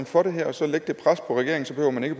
for det her og så lægge det pres på regeringen så man ikke